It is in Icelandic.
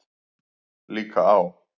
Líka á